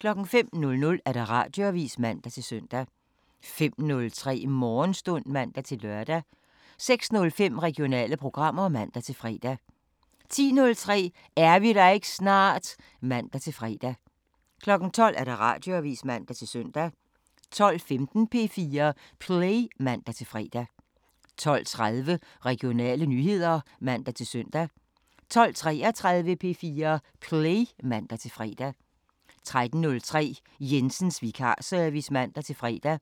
05:00: Radioavisen (man-søn) 05:03: Morgenstund (man-lør) 06:05: Regionale programmer (man-fre) 10:03: Er vi der ikke snart? (man-fre) 12:00: Radioavisen (man-søn) 12:15: P4 Play (man-fre) 12:30: Regionale nyheder (man-søn) 12:33: P4 Play (man-fre) 13:03: Jensens vikarservice (man-fre)